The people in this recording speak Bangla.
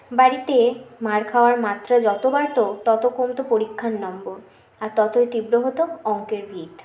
বাড়িতে মার খাওয়ার মাত্রা যত বাড়ত তত কমতে পরিক্ষার নম্বর আর ততই তীব্র হত অঙ্কের ভীত